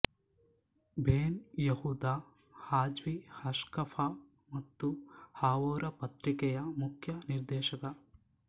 ಬೆನ್ Yehuda ಹಾಜ್ವಿ ಹಾಶ್ಕಫಾ ಮತ್ತು ಹಾವೊರ ಪತ್ರಿಕೆಯ ಮುಕ್ಯ ನೀರ್ದೆಶಕ